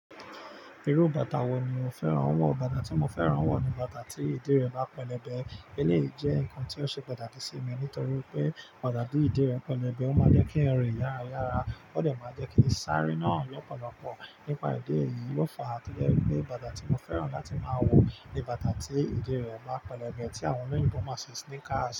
Irú bàtà wo ni o fẹ́ràn? Awọn bàtà tí mo fẹ́ràn wọ̀ ni bàtà tí ìdí rẹ̀ bá pẹlẹbẹ. Èyí jẹ́ ǹkan tí ó ṣe pàtàkì sí mi nítorí pé bàtà tí ìdí rẹ̀ pẹlẹbẹ, ó máa jẹ́ kí èèyàn rin yára yára, ó dà máa jẹ́ kí sáré náà lọ́pọ̀lọpọ̀. Nípa idè eyìí, ó fàá tojẹ́ wipé bàtà tí mo fẹ́ràn láti máa wọ̀ ni bàtà tí ìdí rẹ̀ báa pẹlẹbẹ tí àwọn olóyinbo mọ̀ ṣi sneaker's.